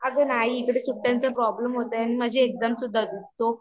अगं नाही इकडे सुट्ट्यांच्या प्रॉब्लेम होता आणि माझी एक्झाम सुद्धा होती सो